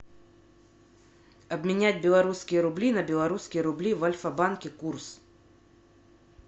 обменять белорусские рубли на белорусские рубли в альфа банке курс